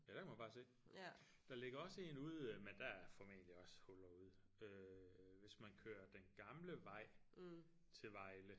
Ja der kan man bare se der ligger også en ude men der er formentlig også huller ude øh hvis man kører den gamle vej til Vejle